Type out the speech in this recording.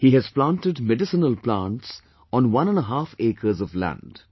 He has planted medicinal plants on one and a half acres of land